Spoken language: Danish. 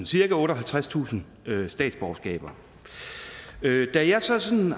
cirka otteoghalvtredstusind statsborgerskaber da jeg så sad